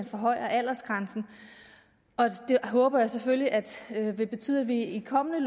forhøjer aldersgrænsen det håber jeg selvfølgelig vil betyde at vi i kommende